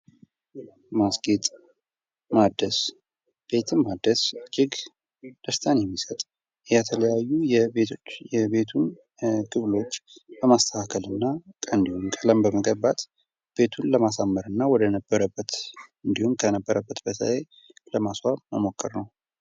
ማስጌጥ ማደስ እጅግ ደስታ የሚሰጥ ነው የተለያዩ የቤቶች ክፍሎች በማስተካከልና ቤቱን ለማሳመርና ወደ ነበረበት እንዲሁም ከነበረበት ላይ ለማስዋብ መሞከር ነው።